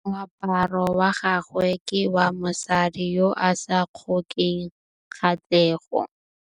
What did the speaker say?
Moaparô wa gagwe ke wa mosadi yo o sa ngôkeng kgatlhegô.